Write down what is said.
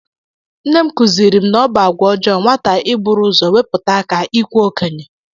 Nne m kụziiri m na ọ bụ àgwà ọjọọ nwata iburu ụzọ wepụta aka ikwe okenye